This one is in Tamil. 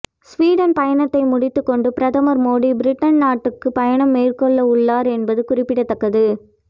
ஸ்வீடன் பயணத்தை முடித்துக் கொண்டு பிரதமர் மோடி பிரிட்டன் நாட்டுக்கு பயணம் மேற்கொள்ள உள்ளார் என்பது குறிப்பிடத்தக்கது